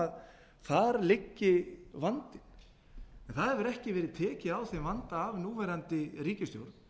að þar liggi vandinn en það hefur ekki verið tekið á þeim vanda af núverandi ríkisstjórn